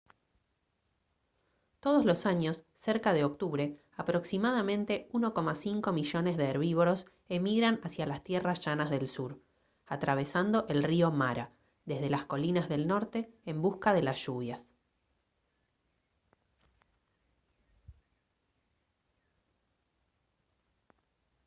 todos los años cerca de octubre aproximadamente 1,5 millones de herbívoros emigran hacia las tierras llanas del sur atravesando el río mara desde las colinas del norte en busca de las lluvias